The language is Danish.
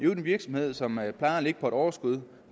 en virksomhed som plejer at have et overskud